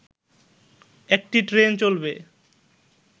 একটি ট্রেন চলবে